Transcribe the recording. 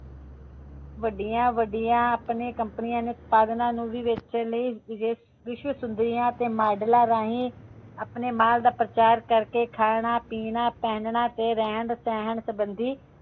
ਵੱਡੀਆਂ ਵੱਡੀਆਂ ਆਪਣੇ ਕੰਪਨੀਆਂ ਦੇ ਉਤਪਾਦਾਂ ਨੂੰ ਵੇਚਣ ਲਈ ਵਿਸ਼ਵ ਸੁੰਦਰੀਆਂ ਤੇ ਮਾਡਲਾਂ ਰਾਹੀਂ ਆਪਣੇ ਮਾਲ ਦਾ ਪ੍ਰਚਾਰ ਕਰਕੇ ਖਾਣਾ ਪੀਨਾ ਪਹਿਨਣਾ ਤੇ ਰਹਿਣ ਸਹਿਣ ਸੰਬੰਧੀ